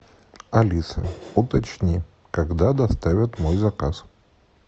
алиса уточни когда доставят мой заказ